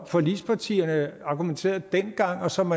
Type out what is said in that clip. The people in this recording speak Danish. forligspartierne argumenterede dengang og som